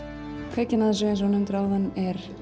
kveikjan að þessu eins og þú nefndir áðan er